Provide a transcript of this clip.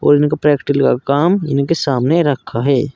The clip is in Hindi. और उनके प्रैक्टिकल का काम उनके सामने रखा है।